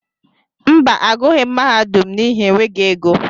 Mba, agughi m mahadum n'ihi enweghị égo.